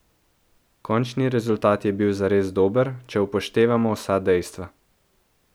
Končni rezultat je bil zares dober, če upoštevamo vsa dejstva.